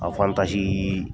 A wantaji